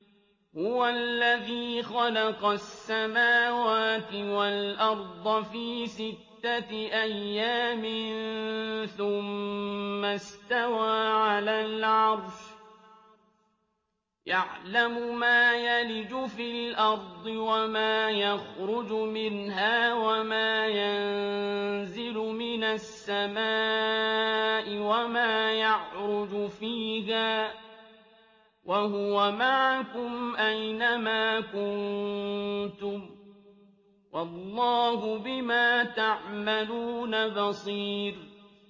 هُوَ الَّذِي خَلَقَ السَّمَاوَاتِ وَالْأَرْضَ فِي سِتَّةِ أَيَّامٍ ثُمَّ اسْتَوَىٰ عَلَى الْعَرْشِ ۚ يَعْلَمُ مَا يَلِجُ فِي الْأَرْضِ وَمَا يَخْرُجُ مِنْهَا وَمَا يَنزِلُ مِنَ السَّمَاءِ وَمَا يَعْرُجُ فِيهَا ۖ وَهُوَ مَعَكُمْ أَيْنَ مَا كُنتُمْ ۚ وَاللَّهُ بِمَا تَعْمَلُونَ بَصِيرٌ